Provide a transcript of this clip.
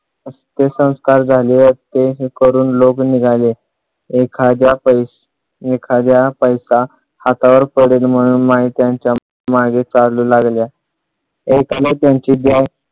त्याचे अंतिम संस्कार करून लोक निघाले एखाद्या पैसा एखाद्या पैसा हातावर पडेल म्हणून माई त्यांच्या मागे चालू लागल्या एकाने त्यांची